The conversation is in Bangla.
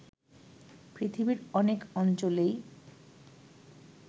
পৃথিবীর অনেক অঞ্চলেই